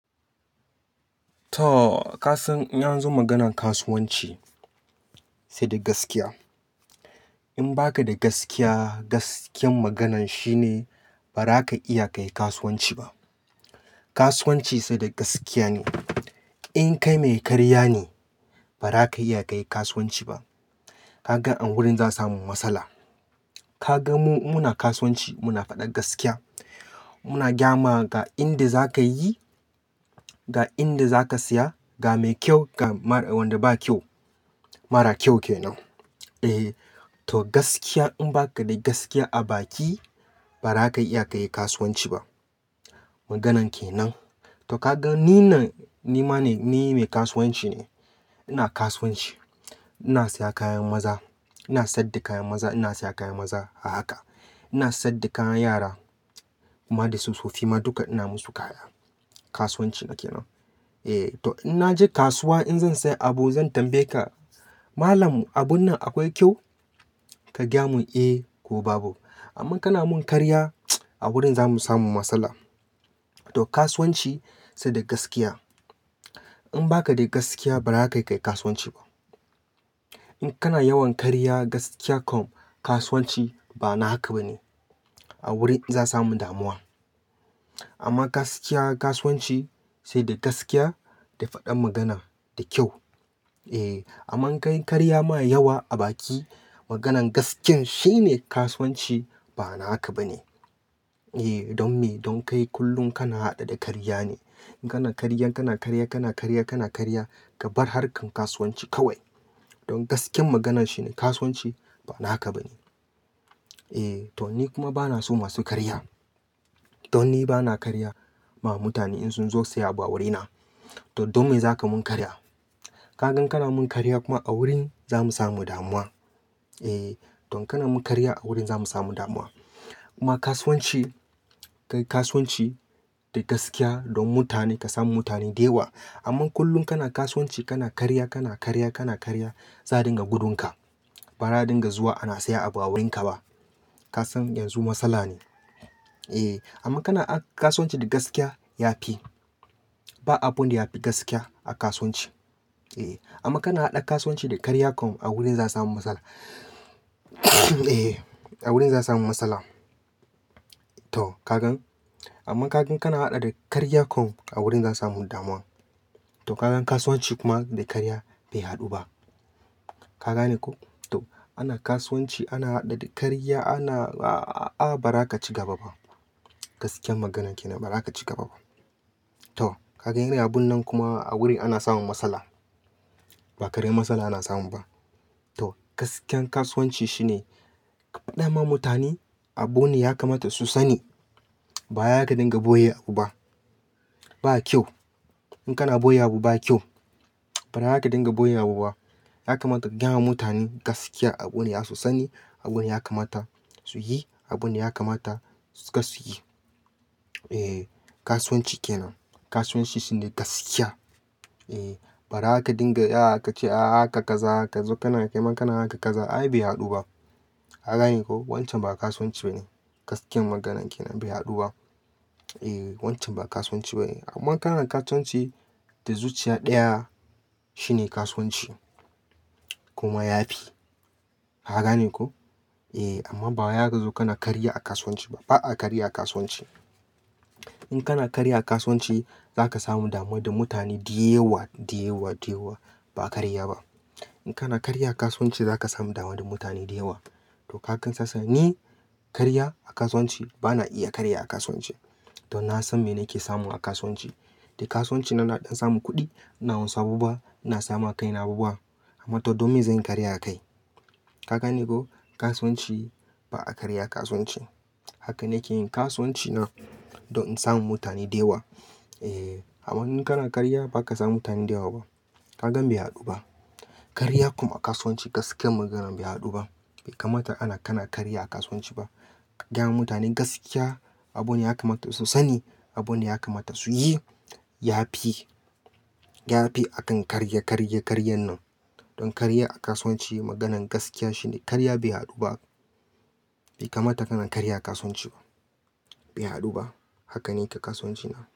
Toh kasan in anzo maganan kasuwanci saida gaskiya in ba ka da gaskiya, gaskiyar maganan shine ba za ka iya ka yi kasuwanci ba. Kasuwanci sai da gaskiya ne. In kai mai karya ne, ba za ka iya ka yi kasuwanci ba. Ka gan a wurin za samu matsala. Ka gan mu muna kasuwanci muna faɗar gaskiya. Muna gyama ga inda za ka yi, ga inda za ka siya, ga me kyau ga mara, wanda ba kyau, mara kyau ke nan. E, to gaskiya in ba ka da gaskiya a baki ba za ka iya ka yi kasuwanci ba. Maganan ke nan. To ka gan ni nan ni ma ne, ni mai kasuwanci ne. Ina kasuwanci. Ina siya kayan maza, ina saida kayan maza, ina siya kayan maza a haka. Ina saida kayan yara, kuma da soso fi ma duka ina musu kaya. Kasuwanci na ke nan. E, to in na je kasuwa in zan siya abu zan tambaye ka, "Malam, abun nan akwai kyau?" Ka gaya mun, "Eh ko babu." Amma kana mun karya a wurin za mu samu matsala. To kasuwanci sai da gaskiya. In ba ka da gaskiya ba za ka iya ka yi kasuwanci ba. In kana yawan karya gaskiya kom, kasuwanci ba na haka ba ne. A wurin za sami damuwa. Amma gaskiya kasuwanci saida gaskiya da fadan magan da kyau. E, amma ka yi karya ma yawa a baki, maganan gaskiyar shine kasuwanci ba naka ba ne. E, don me, don kai kullum kana haɗe da karya ne. Kana karya, kana karya, kana karya, kana karya ka bar harkan kasuwanci kawai. Don gaskiyar maganan shine kasuwanci ba naka ba ne. E, to ni kuma ba na so masu karya. To ni ba na karya ma mutane in sun zo siya abu a wurina. To don me za ka mun karya? Ka gan kana mun karya kuma a wurin za mu samu damuwa. E, don kana mun karya a wurin za mu samu damuwa. Kuma kasuwanci, kai kasuwanci da gaskiya dom mutane kasan mutane da yawa, amma kullum kana kasuwanci kana karya kana karya kana karya za'a dunga gudun ka ba za dinga zuwa ana siya abu a wurin ka ba. Ka san yanzu matsala ne. E, amma kana a-- kasuwanci da gaskiya ya fi. Ba abun da ya fi gaskiya a kasuwanci. E, amma kana haɗa kasuwanci da karya kom a wurin za samu matsala. E, a wurin za samu matsala. To ka gan. Amma ka gan kana haɗa da karya kom a wurin za samu damuwa. To ka gan kasuwanci kuma da karya bai haɗu ba. Ka gane ko? To ana kasuwanci ana haɗe da karya ana a-a-a ba za ka ci gaba ba. Gaskiyar maganan ke nan ba za ka ci gaba ba. To ka gan yanzu abun nan kuma a wurin ana samun matsala. Ba karyan matsala ana samu ba. To gaskiyar kasuwanci shine faɗa ma mutane abune ya kamata su sani. Ba ya ka dinga ɓoye abu ba. Ba kyau. In ka na ɓoye abu ba kyau. Ba za ka dinga ɓoye abu ba. Ya kamata ka gyama mutane gaskiya abune ya su sani, abune ya kamata su yi, abune ya kamata suka su yi. E, kasuwanci ke nan. Kasuwanci shine gaskiya. E, ba ra ka dinga ya ka ce a haka kaza, haka zo kana kai ma kana haka kaza ai bai haɗu ba. Ka gane ko? Wancan ba kasuwanci ba ne. Gaskiyar maganan ke nan bai haɗu ba. E, wancan ba kasuwanci ba ne. Amma kana kasuwanci da zuciya ɗaya shine kasuwanci. Kuma ya fi. Ka gane ko? E, amma ba ya ka zo kana karya a kasuwanci ba, ba a karya a kasuwanci. In kana karya a kasuwanci, zaka samu damuwa da mutane da yawa da yawa da yawa ba a karya ba. In kana karya a kasuwanci za ka samu damuwa da mutane da yawa. To ka kan sassa ne karya a kasuwanci, ba na iya karya a kasuwanci. To na san me nake samu a kasuwanci. Da kasuwanci na naɗan samu kuɗi, ina wanzu abubuwa, ina samu a kai na abubuwa. Amma to don me zanyi karya akai. Ka gane ko? Kasuwanci ba a karya a kasuwanci. Haka nake yin kasuwanci na don in samu mutane da yawa. E, amma in kana karya ba ka samu mutane da yawa ba ka gan bai haɗu ba. Karya kom a kasuwanci gaskiyar maganan bai haɗu ba. Be kamata a na kana karya a kasuwanci ba Gyama mutane gaskiya, abune ya kamata su sani, abune ya kamata su yi. Yafi, yafi akan karya karya karyan nan, don karya a kasuwanci maganan gaskiya karya bai hadu ba bai kamata kana karya a kasuwanci ba. Bai haɗu ba. Haka nake kasuwanci na.